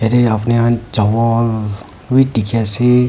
apuni khan chawol wi dikhi ase.